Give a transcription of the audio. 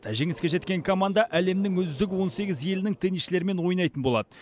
жеңіске жеткен команда әлемнің үздік он сегіз елінің теннисшілерімен ойнайтын болады